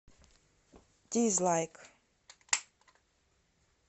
дизлайк